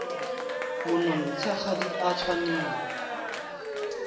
monontsha ga di a tshwanela